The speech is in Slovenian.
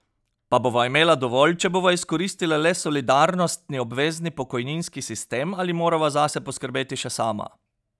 Pa bova imela dovolj, če bova izkoristila le solidarnostni, obvezni pokojninski sistem, ali morava zase poskrbeti še sama?